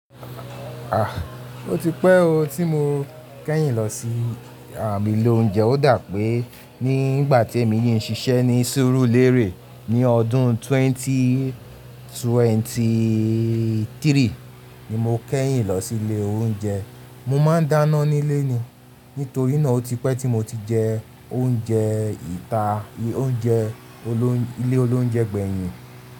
Ah! Ó ti pẹ́ o tí mo kẹ́yìn lọ sí àh ilé oúnjẹ. Ó dà pé nígbà tí èmi yìí ń ṣiṣẹ́ ní sẹ́rúlérè ní ọdún twenty twenty three ni mo kẹ́yìn lọ sí ilé oúnjẹ. Mo máa ń dáná nílé ni. Nítorí náà ó ti pẹ́ tí mo ti jẹ oúnjẹ ìta, oúnjẹ olóń-- ilé olóúnjẹ gbẹ̀yìn.